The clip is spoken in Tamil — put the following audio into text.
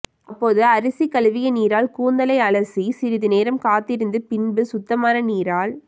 அப்போது அரிசிகளுவிய நீரால் கூந்தலை அலசி சிறிது நேரம் காத்திருந்து பின்பு சுத்தமான நீரால்